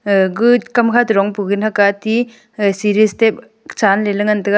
e gu kamkha to dongpu gana kati eh siri steps ga chanley ley ngan tega.